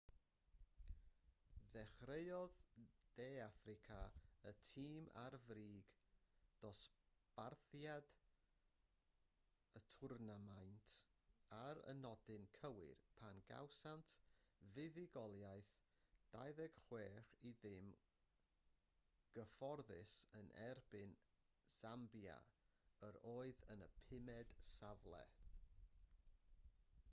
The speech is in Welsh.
dechreuodd de affrica y tîm ar frig dosbarthiad y twrnamaint ar y nodyn cywir pan gawsant fuddugoliaeth 26-00 gyfforddus yn erbyn sambia yr oedd yn y pumed safle